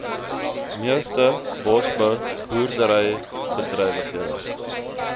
meeste bosbou boerderybedrywighede